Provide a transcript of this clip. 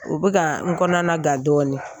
U bɛ ka n kɔnɔna gan dɔɔnin